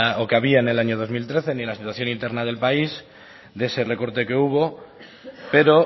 o que había en el año dos mil trece ni la situación interna del país de ese recorte que hubo pero